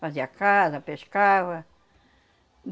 Fazia casa, pescava. Hum,